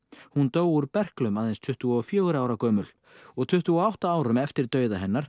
hún dó úr berklum aðeins tuttugu og fjögurra ára gömul tuttugu og átta árum eftir dauða hennar